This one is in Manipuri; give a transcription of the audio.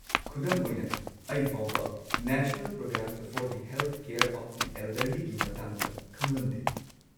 ꯈꯨꯗꯝ ꯑꯣꯏꯅ, ꯑꯩ ꯐꯥꯎꯕ national programme for the health care of the ꯑꯦꯜꯗꯔꯂꯤꯒꯤ ꯃꯇꯥꯡꯗ ꯈꯪꯂꯝꯗꯦ꯫